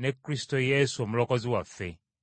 ne Kristo Yesu omulokozi waffe.